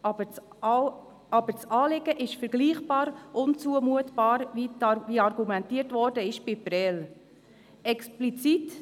Aber, das Anliegen ist vergleichbar unzumutbar wie Prêles.